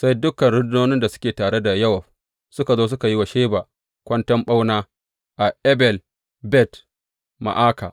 Sai dukan rundunonin da suke tare da Yowab suka zo suka yi wa Sheba kwanton ɓauna a Abel Bet Ma’aka.